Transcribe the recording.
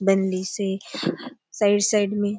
बनलिसे हाह side - side में --